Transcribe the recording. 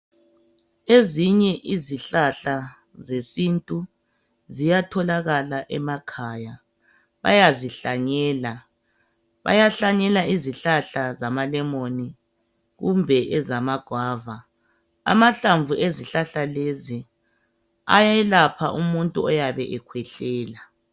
ezinye izihlahla ziyatholakala emakhaya bayazihlanyela bayahlanyela izihlahla zamalemoni kumbe ezama gwava amahlanvu wezihlahla lezi ayelapha umuntu oyabe ekhwehlela